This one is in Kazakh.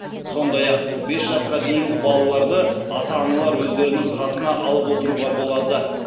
сондай ақ бес жасқа дейінгі балаларды ата аналар өздерінің қасына алып отыруға болады